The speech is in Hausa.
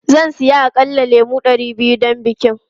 Zan saya aƙalla lemu ɗari biyu don bikin.